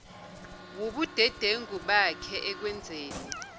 wubudedengu bakhe ekwenzeni